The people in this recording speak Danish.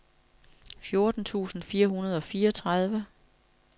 fjorten tusind fire hundrede og fireogtredive